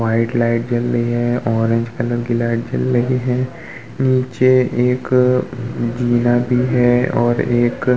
White light जल रही है ऑरेंज कलर की लाइट जल रही है। नीचे एक भी है और एक --